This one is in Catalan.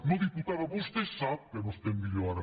no diputada vostè sap que no estem millor ara